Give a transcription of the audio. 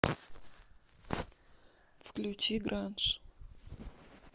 включи гранж